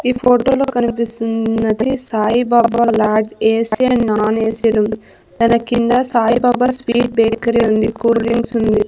ఈ ఫోటో లో కనిపిస్తుంది Saibaba lodge AC and non AC room దాని కింద సాయిబాబా స్వీట్ బేకరీ ఉంది కూల్ డ్రింక్స్ ఉంది.